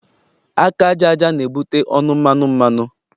Aka aja aja na-ebute ọnụ mmanụ mmanụ.